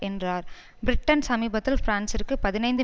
என்றார் பிரிட்டன் சமீபத்தில் பிரான்சிற்கு பதினைந்து